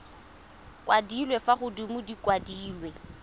kwadilwe fa godimo di kwadilwe